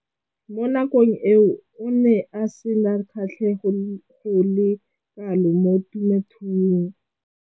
Mo nakong eo o ne a sena kgatlhego go le kalo mo temothuong.